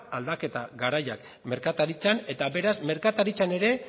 aldaketa garaia merkataritzan beraz merkataritzan ere